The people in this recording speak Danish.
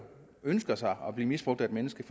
ønsker sig at blive misbrugt af et menneske